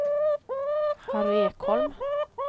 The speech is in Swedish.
Harry Ekholm